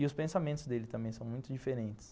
E os pensamentos dele também são muito diferentes.